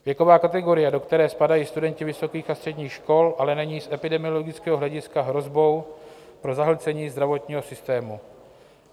Věková kategorie, do které spadají studenti vysokých a středních škol, ale není z epidemiologického hlediska hrozbou pro zahlcení zdravotního systému.